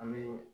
An bɛ